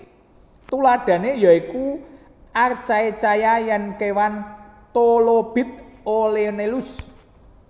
Tuladhané ya iku archaecyata lan kéwan Trilobit Olenellus